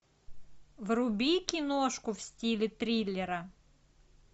вруби киношку в стиле триллера